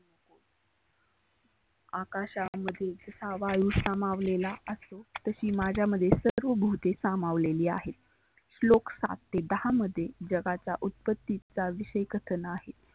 आकाशा मध्ये हा वायु समावलेला असतो. तशी माझ्यामध्ये सर्व भुते समावलेली आहेत. श्लोक सात ते दहा मध्ये जगाचा उत्पत्तीचा विषय कथन आहे.